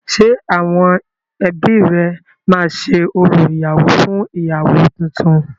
Ṣé àwọn ebí rẹ máa ṣe orò ìyàwọ́ fún ìyàwọ́ túntún?